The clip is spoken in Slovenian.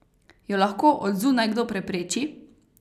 Jo lahko od zunaj kdo prepreči?